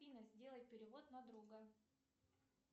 афина сделай перевод на друга